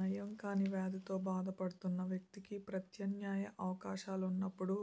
నయం కాని వ్యాధితో బాధపడుతున్న వ్యక్తికి ప్రత్యామ్నా య అవకాశాలున్నప్పుడు